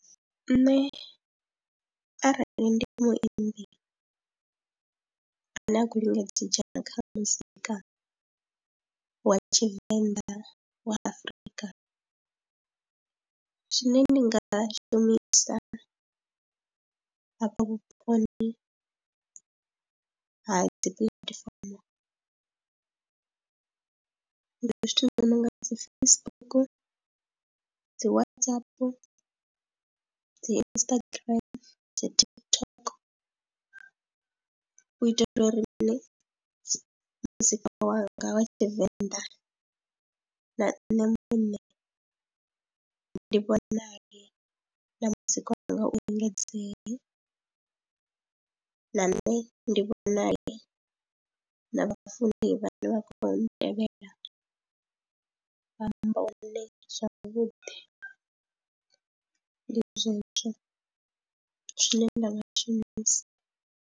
Nṋe arali ndi muimbi ane a khou lingedza u dzhena kha muzika wa tshivenḓa wa Afrika zwine ndi nga shumisa hafha vhuponi ha dzi platform, ndi zwithu zwi nonga dzi Facebook, dzi WhatsApp, dzi Instagram dzi TikTok, u itela uri mini muzika wanga wa tshivenḓa na nṋe muṋe ndi ndi vhonale na muzika wanga u engedzea na nne ndi vhonale na vhafuni vhane vha khou vha ntevhelela vha amba hune zwavhuḓi ndi zwezwo zwine nda nga tshi shumisa.